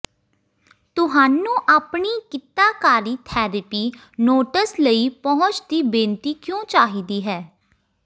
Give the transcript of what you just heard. ਤੁਹਾਨੂੰ ਆਪਣੀ ਕਿੱਤਾਕਾਰੀ ਥੈਰੇਪੀ ਨੋਟਸ ਲਈ ਪਹੁੰਚ ਦੀ ਬੇਨਤੀ ਕਿਉਂ ਚਾਹੀਦੀ ਹੈ